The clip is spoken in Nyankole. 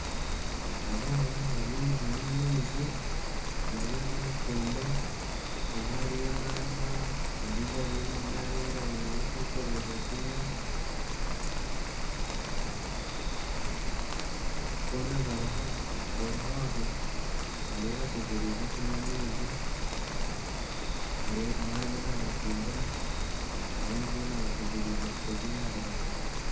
Abaana barimu nibanywa amaizi bari aha nanyikondo omwe ariyo nanywa ondiijo ariyo nanaaba engaro kwetereeza kunywa boona bariho aho bariyo bategyereize kunywa amaizi omwe ariyo nabacundira abandi boona bategyerize kutega engaro bakanywa